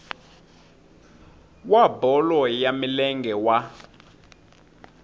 wa bolo ya milenge wa